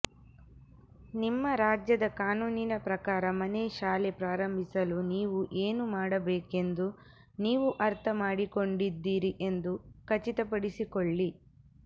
ನಿಮ್ಮ ರಾಜ್ಯದ ಕಾನೂನಿನ ಪ್ರಕಾರ ಮನೆಶಾಲೆ ಪ್ರಾರಂಭಿಸಲು ನೀವು ಏನು ಮಾಡಬೇಕೆಂದು ನೀವು ಅರ್ಥಮಾಡಿಕೊಂಡಿದ್ದೀರಿ ಎಂದು ಖಚಿತಪಡಿಸಿಕೊಳ್ಳಿ